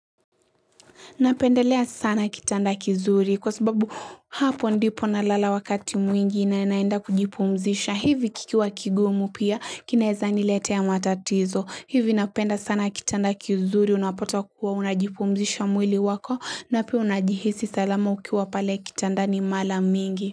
Napendelea sana kitanda kizuri kwa sababu hapo ndipo na lala wakati mwingi na naenda kujipumzisha. Hivi kikiwa kigumu pia kinaeza nilete a matatizo. Hivi napenda sana kitanda kizuri unapata kuwa unajipumzisha mwili wako na pia unajihisi salamu ukiwa pale kitanda ni mara mingi.